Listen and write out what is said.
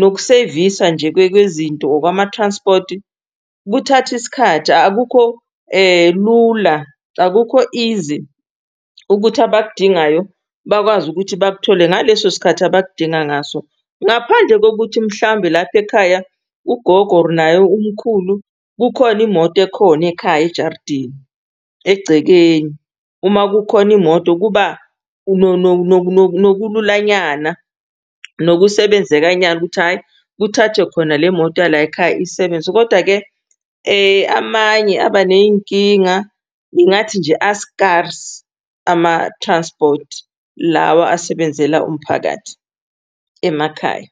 nokusevisa nje kwezinto okwama-transport kuthatha isikhathi akukho lula. Akukho izi ukuthi abakudingayo bakwazi ukuthi bakuthole ngaleso sikhathi abakudinga ngaso. Ngaphandle kokuthi mhlambe lapha ekhaya ugogo or naye umkhulu kukhona imoto ekhona ekhaya ejardini egcekeni. Uma kukhona imoto kuba nokulula nyana nokusebenzeka nyana ukuthi hhayi kuthathwe khona le moto yalay'khaya isebenzi. Koda-ke amanye aba ney'nkinga ngingathi nje a-scarce ama-transport lawa asebenzela umphakathi emakhaya.